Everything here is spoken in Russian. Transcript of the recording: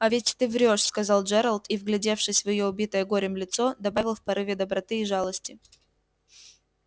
а ведь ты врёшь сказал джералд и вглядевшись в её убитое горем лицо добавил в порыве доброты и жалости